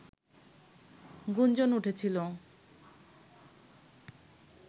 গুঞ্জন উঠেছিল